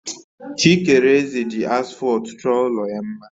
Chikereze ji asfọltu chọọ ụlọ ya mma